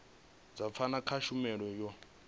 dza pfano kha tshumelo yo